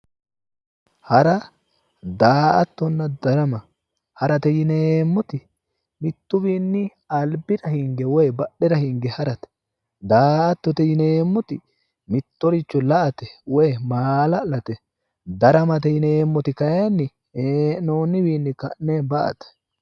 hara daa''attonna darama harate yineemmoti mittuwiinni albira hinge woyi badhera hinge harate daa''attote yineemmoti mittoricho la'ate woyi maala'late daramate yineemmoti kayiinni hee'noonniwiinni ka'ne ba'ate.